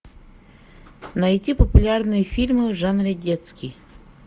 найти популярные фильмы в жанре детский